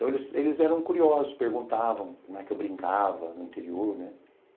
Então, eles eles eram curiosos, né, perguntavam como é que eu brincava no interior, né?